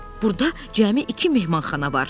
Burda cəmi iki mehmanxana var.